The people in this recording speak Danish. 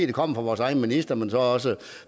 det kommer fra vores egen minister men også